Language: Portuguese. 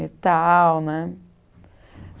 e tal, né?